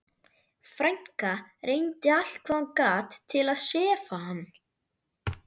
Frænka reyndi allt hvað hún gat til að sefa hann.